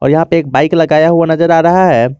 यहां पे एक बाइक लगाया हुआ नजर आ रहा है।